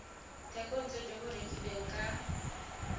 thekontle jo bo rekilweng ka